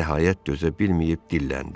nəhayət dözə bilməyib dilləndi.